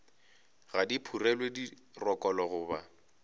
ga di phurelwe dirokolo goba